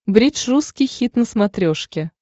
бридж русский хит на смотрешке